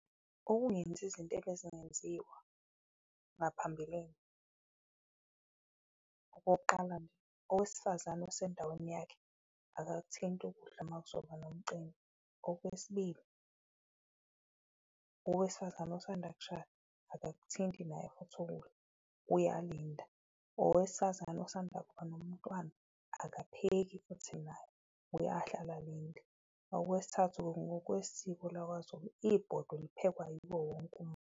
Ukungenzi izinto ebezingenziwa ngaphambilini, okokuqala nje owesifazane osendaweni yakhe akakuthinti ukudla uma kuzoba nomcimbi. Okwesibili owesifazane osanda kushada akakuthinti naye futhi ukudla uyalinda, owesifazane osanda kuba nomntwana akapheki futhi naye uyahlala alinde. Okwesithathu ngokwesiko lakwaZulu ibhodo liphekwa yiwo wonke umuntu.